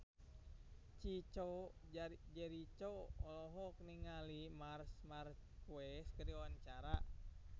Chico Jericho olohok ningali Marc Marquez keur diwawancara